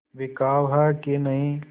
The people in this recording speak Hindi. बिकाऊ है कि नहीं